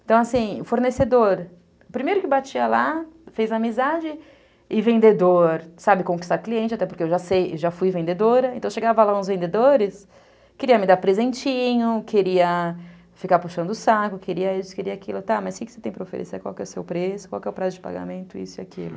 Então assim, fornecedor, primeiro que batia lá, fez amizade, e vendedor, sabe, conquistar cliente, até porque eu já sei, já fui vendedora, então chegava lá uns vendedores, queria me dar presentinho, queria ficar puxando o saco, queria isso, queria aquilo, tá, mas o que você tem para oferecer, qual que é o seu preço, qual que é o prazo de pagamento, isso e aquilo.